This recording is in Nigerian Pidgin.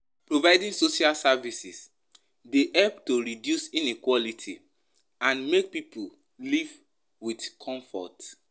Providing social services dey help to reduce inequality and make pipo live with comfort